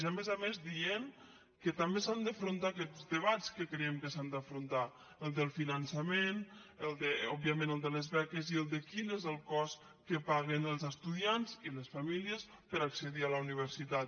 i a més a més dient que també s’han d’enfrontar aquests debats que creiem que s’han d’enfrontar el del finançament òb·viament el de les beques i el de quin és el cost que paguen els estudiants i les famílies per accedir a la universitat